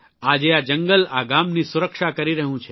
આજે આ જંગલ આ ગામની સુરક્ષા કરી રહ્યું છે